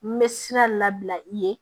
N bɛ siran labila i ye